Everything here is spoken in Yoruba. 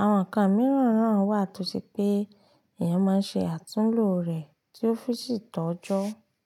Àwọn nǹkan mìíràn na wá tó ṣe pé èèyàn máa ń ṣe àtúnlo rẹ̀ tí ó fi sì tọ́jọ́.